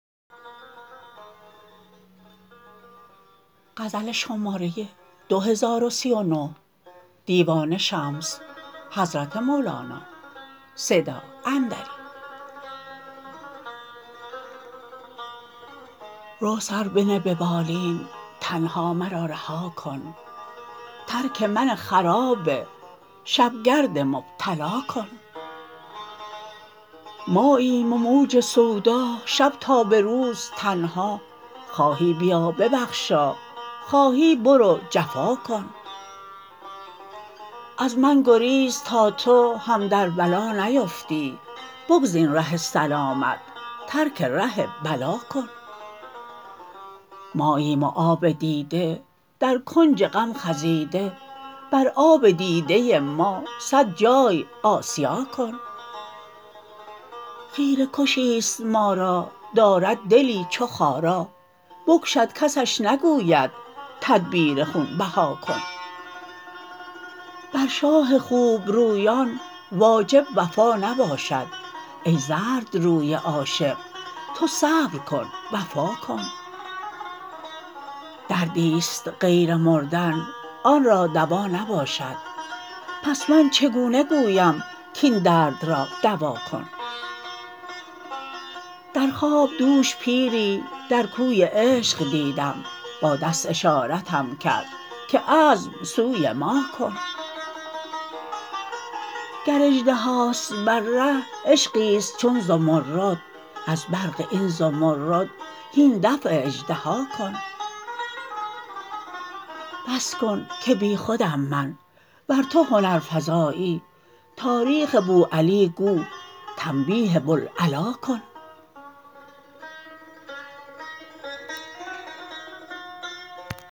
رو سر بنه به بالین تنها مرا رها کن ترک من خراب شب گرد مبتلا کن ماییم و موج سودا شب تا به روز تنها خواهی بیا ببخشا خواهی برو جفا کن از من گریز تا تو هم در بلا نیفتی بگزین ره سلامت ترک ره بلا کن ماییم و آب دیده در کنج غم خزیده بر آب دیده ما صد جای آسیا کن خیره کشی ست ما را دارد دلی چو خارا بکشد کسش نگوید تدبیر خون بها کن بر شاه خوب رویان واجب وفا نباشد ای زردروی عاشق تو صبر کن وفا کن دردی ست غیر مردن آن را دوا نباشد پس من چگونه گویم کاین درد را دوا کن در خواب دوش پیری در کوی عشق دیدم با دست اشارتم کرد که عزم سوی ما کن گر اژدهاست بر ره عشقی ست چون زمرد از برق این زمرد هین دفع اژدها کن بس کن که بی خودم من ور تو هنرفزایی تاریخ بوعلی گو تنبیه بوالعلا کن